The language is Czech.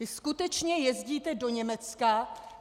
Vy skutečně jezdíte do Německa...